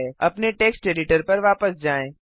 अपने text editor पर वापस जाएँ